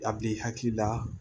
A b'i hakili la